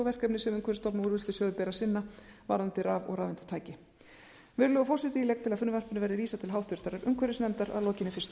verkefni sem umhverfisstofnun og úrvinnslusjóði ber að sinna varðandi raf og rafeindatæki virðulegur forseti ég legg til að frumvarpinu verði vísað til háttvirtrar umhverfisnefndar að lokinni fyrstu umræðu